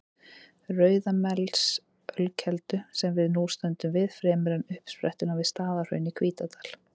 Rauðamelsölkeldu, sem við nú stöndum við, fremur en uppsprettuna við Staðarhraun í Hítardal.